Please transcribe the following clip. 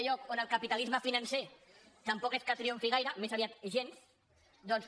on el capitalisme financer tampoc és que triomfi gai·re més aviat gens doncs